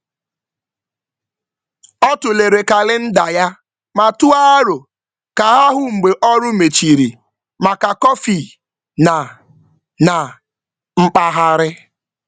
Ọ tụlere kalịnda ya ma tụọ aro ka ha hụ mgbe ọrụ mechiri maka kọfị na na mkpagharị.